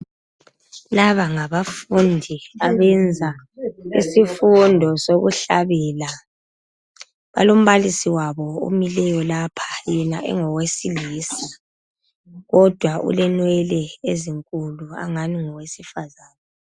Laba ngabafundi abenza isifundo sokuhlabela. Balombalisi wabo omileyo lapha yena engowesilisa, kodwa ulenwele ezinkulu angani ngowesifazana.